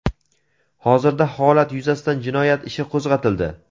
Hozirda holat yuzasidan jinoyat ishi qo‘zg‘atildi.